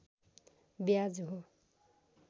ब्याज हो